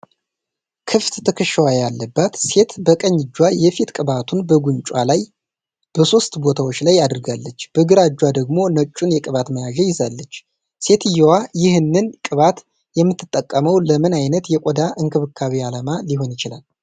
ክፍት ትከሻዋ ያለባት ሴት በቀኝ እጇ የፊት ቅባቱን በጉንጯ ላይ በሦስት ቦታዎች ላይ አድርጋለች፤ በግራ እጇ ደግሞ ነጩን የቅባት መያዣ ይዛለች። ሴትየዋ ይህንን ቅባት የምትጠቀመው ለምን ዓይነት የቆዳ እንክብካቤ ዓላማ ሊሆን ይችላል?